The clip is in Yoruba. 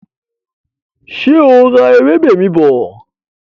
Ṣé o ra ewébè mi bọ̀?